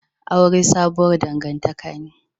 Aure sabuwar dangantaka ne